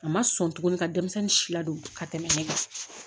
A ma sɔn tuguni ka denmisɛnnin si ladon ka tɛmɛ ne kan